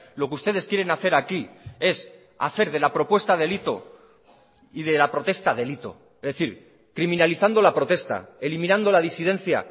lo que ustedes quieren hacer aquí es hacer de la propuesta delito y de la protesta delito es decir criminalizando la protesta eliminando la disidencia